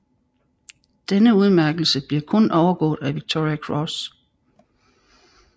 Denne udmærkelse bliver kun overgået af Victoria Cross